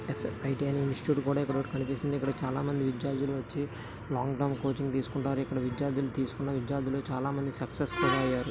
బయటేదో institute board ఏదో కనిపిస్తుంది ఇక్కడ చాలామంది విద్యార్థులు వచ్చి లాంగ్ టర్మ్ కోచింగ్ తీసుకుంటారు. ఇక్కడ విద్యార్థులు తీసుకున్న విద్యార్థులు చాలా మంది అయ్యారు.